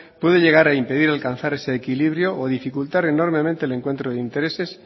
puede llegar a impedir alcanzar ese equilibrio o dificultad enormemente el encuentro de intereses